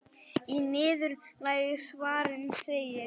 Í niðurlagi svarsins segir: